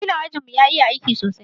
wakilin ajin mu ya iƴa aiki sosai.